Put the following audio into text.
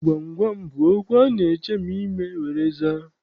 Gwam gwam gwam bụ okwu a na-echemi ime were aza.